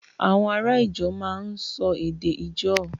Àwọn ará Ijaw máa ń sọ èdè Ijaw